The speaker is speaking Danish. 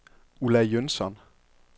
Ulla Jønsson